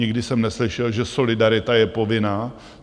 Nikdy jsem neslyšel, že solidarita je povinná.